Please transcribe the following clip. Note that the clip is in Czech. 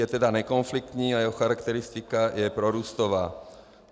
Je tedy nekonfliktní a jeho charakteristika je prorůstová.